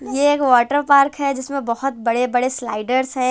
ये एक water park है जिसमें बहोत बड़े बड़े स्लाईडर्स है।